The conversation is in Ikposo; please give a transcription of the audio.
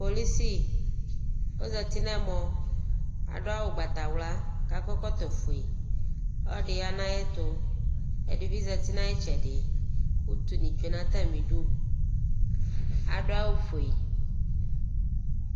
Polisi, ɔzati nʋ ɛmɔ, adʋ awʋ ʋgbatawla kʋ akɔ ɛkɔtɔfue Ɔlɔdɩ ya nʋ ayɛtʋ Ɛdɩ bɩ zati nʋ ayʋ ɩtsɛdɩ kʋ utunɩ tsue nʋ atamɩdu, adʋ awʋfue